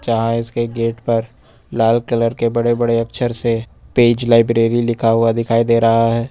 यहाँ इसके गेट पर लाल कलर के बड़े बड़े अक्षर से पेज लाइब्रेरी लिखा हुआ दिखाई दे रहा है।